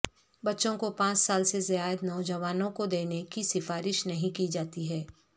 بچوں کو پانچ سال سے زائد نوجوانوں کو دینے کی سفارش نہیں کی جاتی ہے